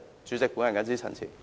主席，我謹此陳辭。